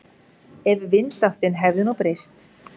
Ef vindáttin hefði nú breyst.